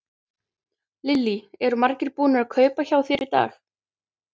Lillý: Eru margir búnir að kaupa hjá þér í dag?